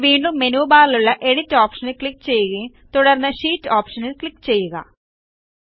ഇനി വീണ്ടും മെനു ബാറിലുള്ള എഡിറ്റ് ഓപ്ഷനിൽ ക്ലിക്ക് ചെയ്യുകയും തുടർന്ന് ഷീറ്റ് ഓപ്ഷനിൽ ക്ലിക്ക് ചെയ്യുക